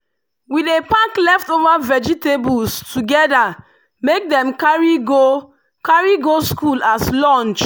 we dey pack leftover vegetables together make dem carry go carry go school as lunch.